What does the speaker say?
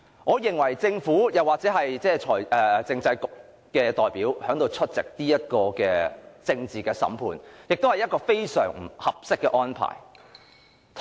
我認為政府或政制及內地事務局的代表出席此項政治審判是非常不合適的安排。